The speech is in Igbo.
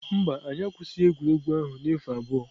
Mba, anyị akwụsịghị egwuregwu ahụ na efu abụọ.